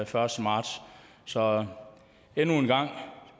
første marts så endnu en gang